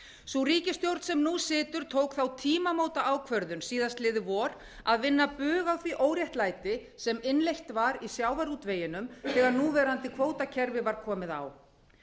sú ríkisstjórn sem nú situr tók þá tímamótaákvörðun síðastliðið vor að vinna bug á því óréttlæti sem innleitt var í sjávarútveginum þegar núverandi kvótakerfi var komið á